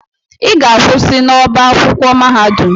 Ị ga-akwụsị n'ọbá akwụkwọ mahadum!